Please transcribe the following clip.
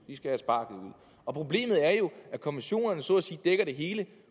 problemet er jo at konventionerne så at sige dækker det hele